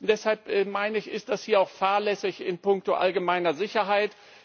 Deshalb meine ich, ist das hier auch fahrlässig in puncto allgemeiner Sicherheit.